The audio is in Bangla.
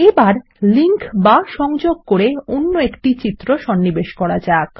এবার লিঙ্ক বা সংযোগ করে অন্য একটি ছবি সন্নিবেশ করা যাক